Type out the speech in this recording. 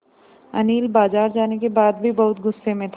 अनिल बाज़ार जाने के बाद भी बहुत गु़स्से में था